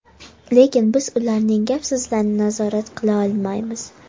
Lekin biz ularning gap-so‘zlarini nazorat qila olmaymiz.